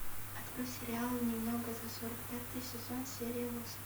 открой сериал немного за сорок пятый сезон серия восемь